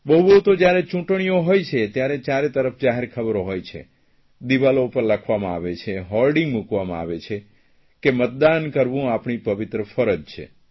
બહુ બહુ તો જયારે ચૂંટણીઓ હોય છે ત્યારે ચારેતરફ જાહેરખબરો હોય છે દિવાલો પર લખવામાં આવે છે હોર્ડીંગ મૂકવામાં આવે છે કે મતદાન કરવું આપણી પવિત્ર ફરજ છે